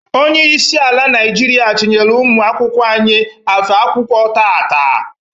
Onyeisi ala Naịjiria chinyelu ụmụ akwụkwọ anyị afe akwụkwọ taata.